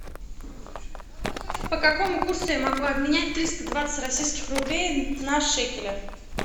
по какому курсу я могу обменять триста двадцать российских рублей на шекели